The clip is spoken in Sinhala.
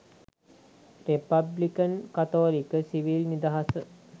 රෙපබ්ලිකන් කතෝලික 'සිවිල් නිදහස'